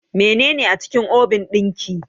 Menene a cikin obin ɗin ki?